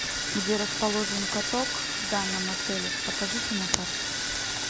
где расположен каток в данном отеле покажите на карте